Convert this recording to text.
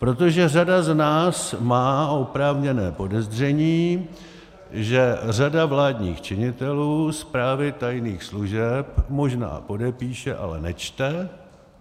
Protože řada z nás má oprávněné podezření, že řada vládních činitelů zprávy tajných služeb možná podepíše, ale nečte.